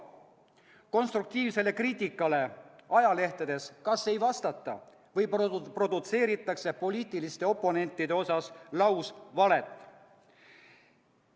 Konstruktiivsele kriitikale ajalehtedes kas ei vastata või produtseeritakse poliitiliste oponentide osas lausvalet.